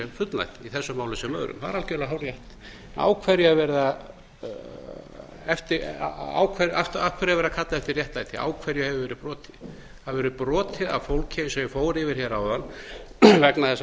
fullnægt í þessu máli sem öðrum það er algjörlega hárrétt af hverju er verið að kalla eftir réttlæti á hverju hefur verið brotið það hefur verið brotið á fólki eins og ég fór yfir hér áðan vegna þess að